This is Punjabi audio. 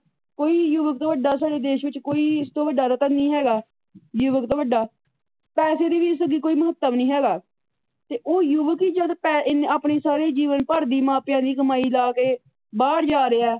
ਕੋਈ ਯੁਵੱਕ ਤੋਂ ਵੱਡਾ ਸਾਡੇ ਦੇਸ਼ ਵਿੱਚ ਕੋਈ ਇਸ ਤੋਂ ਵੱਡਾ ਰਤਨ ਨਹੀ ਹੈਗਾ ।ਯੁਵੱਕ ਤੋਂ ਵੱਡਾ ਪੈਸੇ ਦੇ ਵੀ ਇਸ ਅੱਗੇ ਕੋਈ ਮਹੱਤਵ ਨਹੀ ਹੈਗਾ ਤੇ ਉਹ ਯੂਵਕ ਹੀ ਜਦ ਆਪਣੇ ਸਾਰੇ ਜੀਵਨ ਭਰ ਦੀ ਮਾਪਿਆਂ ਦੀ ਕਮਾਈ ਲਾ ਕੇ ਬਾਹਰ ਜਾ ਰਿਹਾ।